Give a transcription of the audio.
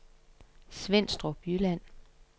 Svenstrup Jylland